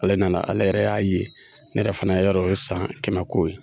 Ale nana ale yɛrɛ y'a ye ne yɛrɛ fana yɔrɔ ye san kɛmɛko ye